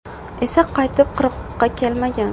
esa qaytib qirg‘oqqa kelmagan.